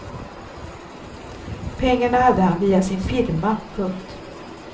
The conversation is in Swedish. Pengar hade han via sin firma. punkt